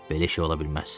Belə şey ola bilməz.